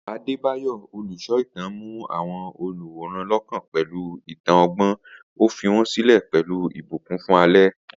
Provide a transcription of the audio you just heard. Adebayo, olùsọ ìtàn, mú àwọn olùwòran lọ́kàn pẹ̀lú ìtàn ọgbọ́n, ó fi wọ́n sílẹ̀ pẹ̀lú ìbùkún fún alẹ́.